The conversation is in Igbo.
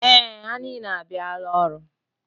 Ee, ha niile abịala ọrụ.